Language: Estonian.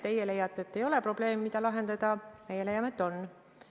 Teie leiate, et ei ole probleemi, mida lahendada, meie leiame, et on.